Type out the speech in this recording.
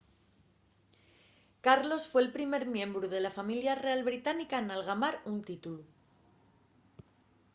carlos fue'l primer miembru de la familia real británica n’algamar un títulu